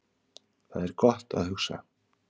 Þar er gott að hugsa